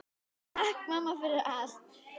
Takk mamma, fyrir allt.